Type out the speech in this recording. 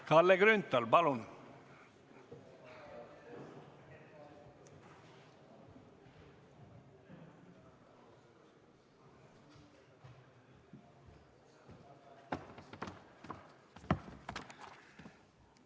Kalle Grünthal, palun!